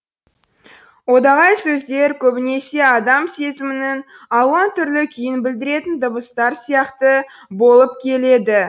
одағай сөздер көбінесе адам сезімінің алуан түрлі күйін білдіретін дыбыстар сияқты болып келеді